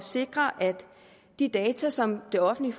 sikre at de data som det offentlige